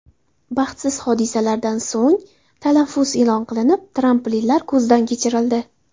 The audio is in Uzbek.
Baxtsiz hodisalardan so‘ng, tanaffus e’lon qilinib, tramplinlar ko‘zdan kechirildi.